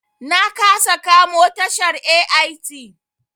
Na kasa kamo tashar AIT.